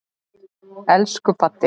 Elsku Baddi.